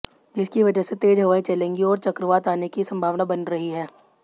जिसकी वजह से तेज हवाएं चलेगी और चक्रवात आने की संभावना बन रही है